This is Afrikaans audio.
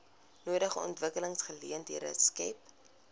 nodige ontwikkelingsgeleenthede skep